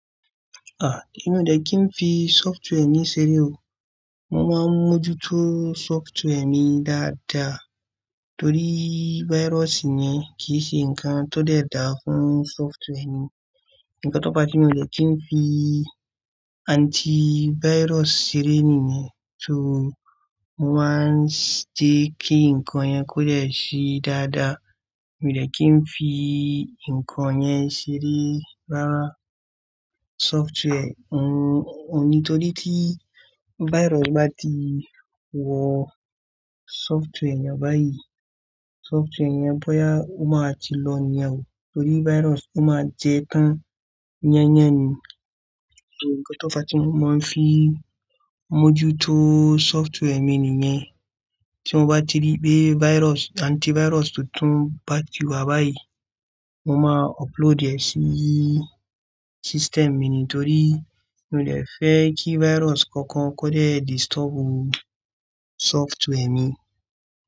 Ah, èmi ò dẹ̀ kí n fi software mi ṣeré o. Mo máa ń mójútó software mi dáadáa torí virus yẹn kì í ṣe nǹkan tó dẹ̀ dà fún software mi. Ǹkan tó fa tí mi ò dẹ̀ kí n fi antivirus ṣeré nìyẹn, só mo máa ń ṣe kí nǹkan yẹn kó dẹ̀ ṣe dáadáa. Èmi ò dẹ̀ kí n fi nǹkan yẹn ṣeré rárá. Software òun ní torí tí virus bá ti wọ software yẹn báyìí, software yẹn bóyá ó máa ti lọ nìyẹn o torí virus ó máa jẹ tán. Iyán yẹn ni. To ǹkan tó fa tí mo máa ń fi mójútó software mi nìyẹn. Tí mo bá ti rí pé virus-- antivirus tuntun bá ti wá báyìí, mo máa upload ẹ̀ sí system mi nítorí mi ò dẹ̀ fẹ́ kí virus kankan ó kó dẹ̀ disturb software mi.